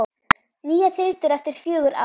Nýjar þyrlur eftir fjögur ár?